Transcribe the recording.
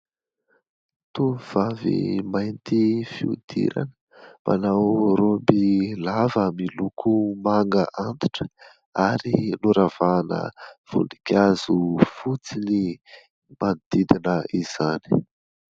Tovovavy mainty fihodirana. Manao raoby lava miloko manga antitra ary noravahana voninkazo fotsy manodidina izany.